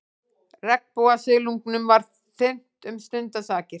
Regnbogasilungnum var þyrmt um stundarsakir.